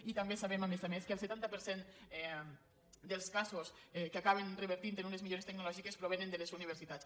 i també sabem a més a més que el setanta per cent dels casos que acaben revertint en unes millores tecnològi·ques provenen de les universitats